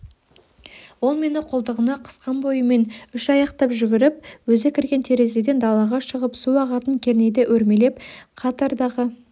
ол мені қолтығына қысқан бойымен үш аяқтап жүгіріп өзі кірген терезеден далаға шығып су ағатын кернейді өрмелеп қатардағы